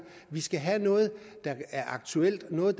vi skal have noget der er aktuelt noget